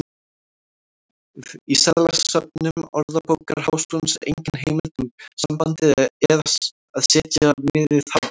Í seðlasöfnum Orðabókar Háskólans er engin heimild um sambandið að setja miðið hátt.